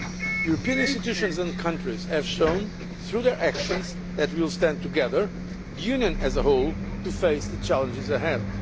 European institutions and countries have shown, through their actions, that we will stand together, the Union as a whole, to face the challenges ahead.